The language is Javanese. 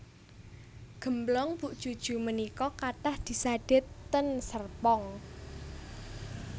Gemblong Bu Juju menika kathah disade ten Serpong